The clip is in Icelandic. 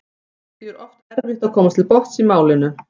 Því er oft erfitt að komast til botns í málinu.